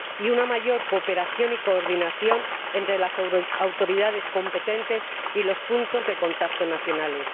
y una mayor cooperación y coordinación entre las autoridades competentes y los puntos de contacto nacionales.